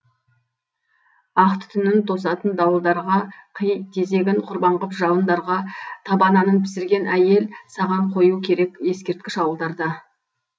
ақ түтінін тосатын дауылдарға қи тезегін құрбан ғып жауындарға таба нанын пісірген әйел сағанқою керек ескерткіш ауылдарда